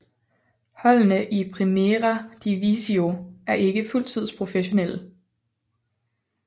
Holdene i Primera Divisió er ikke fuldtids professionelle